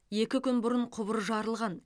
екі күн бұрын құбыр жарылған